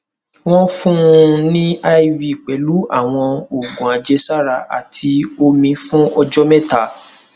wọn fún un ní iv pẹlú àwọn oògùn àjẹsára àti omi fún ọjọ mẹta